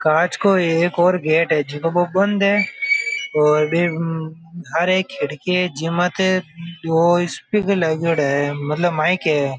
कांच को एक और गेट हैं जको बो बंद है और बिंक हारे एक खिड़की है जी माते दो स्पीकर लगयोड़ा है मतलब माइक है।